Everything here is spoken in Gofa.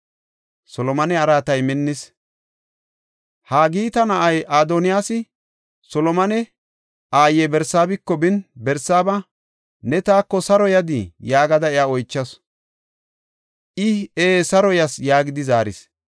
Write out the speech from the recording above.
Haagita na7ay Adoniyaasi, Solomone aaye Barsaabiko bin Barsaaba, “Ne taako saro yadii?” yaagada iya oychasu. I, “Ee; saro yas” yaagidi zaaris.